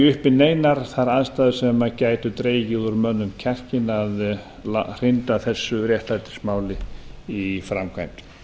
uppi neinar þær aðstæður sem gætu dregið úr mönnum kjarkinn að hrinda þessu réttlætismáli í framkvæmd